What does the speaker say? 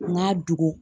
N ka dugu